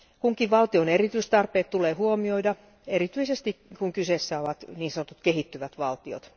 Kunkin valtion erityistarpeet tulee huomioida, erityisesti kun kyseessä ovat niin sanotut kehittyvät valtiot.